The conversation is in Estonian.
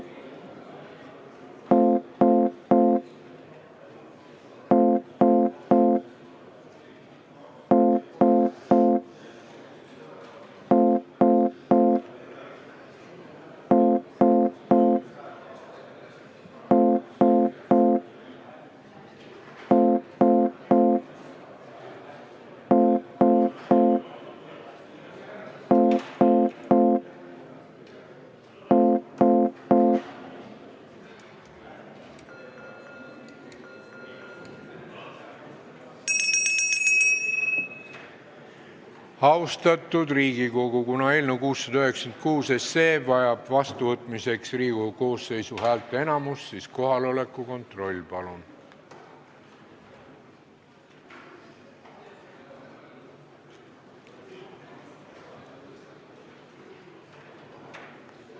Austatud Riigikogu, kuna eelnõu 696 vajab seadusena vastuvõtmiseks Riigikogu koosseisu häälteenamust, siis kohaloleku kontroll, palun!